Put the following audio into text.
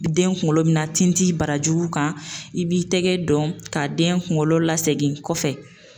Den kunkolo bina tin tin barajuru kan i b'i tigɛ dɔn ka den kunkolo lasegi kɔfɛ